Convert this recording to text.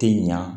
Tɛ ɲa